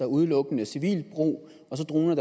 udelukkende civilt brug og så droner